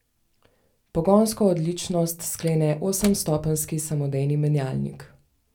Pogonsko odličnost sklene osemstopenjski samodejni menjalnik.